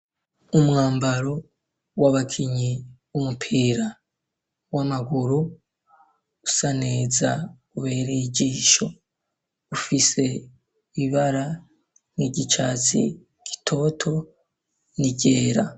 Umwambaro w'abakinyi w'umupira w'amaguru usa neza ubereye ijisho ufise ibara nk'igicatsi gitoto n'iryera.